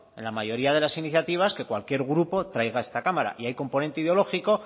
en la mayoría de las iniciativas que cualquier grupo traiga a esta cámara y hay componente ideológico